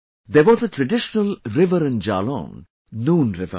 There was a traditional river in Jalaun Noon River